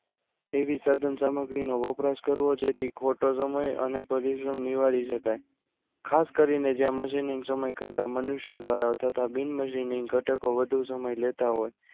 એવી સાધન સામગ્રીનો વપરાશ કરવો જેથી ખોટો સમય અને પરિશ્રમ નિવારી શકાય ખાસ કરીને જ્યાં machining સમય કરતા મનુષ્ય દ્વારા તથા બિન machining ઘટકો વધુ સમય લેતા હોય